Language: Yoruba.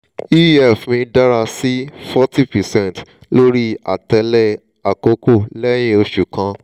ef mi dara si 40 percent lori atẹle akọkọ lẹhin oṣu kan